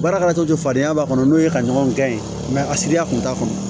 Baara kɛra cogo cogo fadenya b'a kɔnɔ n'o ye ka ɲɔgɔn gɛn a siriya kun t'a kɔnɔ